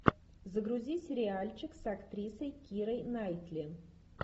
загрузи сериальчик с актрисой кирой найтли